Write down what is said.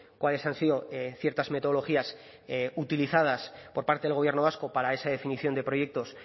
cuáles han sido ciertas metodologías utilizadas por parte del gobierno vasco para esa definición de proyectos